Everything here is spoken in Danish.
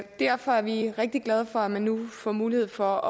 derfor er vi rigtig glade for at man nu får mulighed for